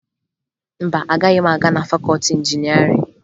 Mba, agaghị m aga na fakọọti injinịarịn